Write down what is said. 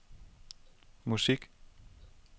musik